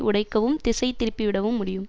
உடைக்கவும் திசைதிருப்பி விடவும் முடியும்